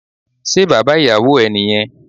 Se baba iyàwò e ni yen?